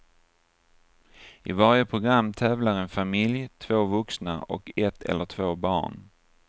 I varje program tävlar en familj, två vuxna och ett eller två barn.